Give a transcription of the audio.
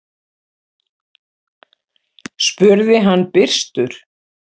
spurði hann byrstur.